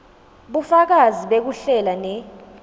bufakazi bekuhlela ne